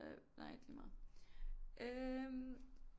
Øh nej lige meget øh